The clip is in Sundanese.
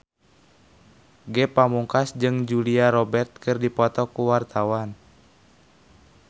Ge Pamungkas jeung Julia Robert keur dipoto ku wartawan